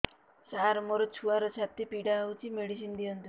ସାର ମୋର ଛୁଆର ଛାତି ପୀଡା ହଉଚି ମେଡିସିନ ଦିଅନ୍ତୁ